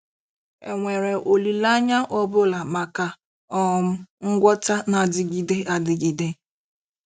È nwere olileanya ọ bụla maka um ngwọta na-adịgide adịgide?